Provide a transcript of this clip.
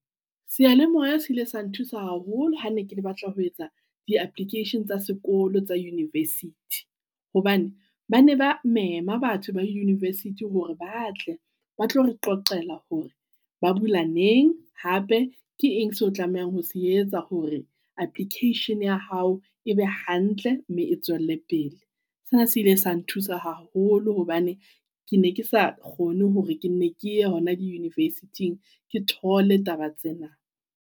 Sealemoea se ile sa nthusa haholo ha ne ke le batla ho etsa di application tsa sekolo tsa university, hobane ba ne ba mema batho ba di university hore ba tle ba tlo re qoqela hore ba bula neng, hape. Ke eng seo tlamehang ho se etsa hore application ya hao ebe hantle mme e tswelle pele? Sena se ile sa nthusa haholo hobane ke ne ke sa kgone hore ke ne ke hona di university ng. Ke thole taba tsena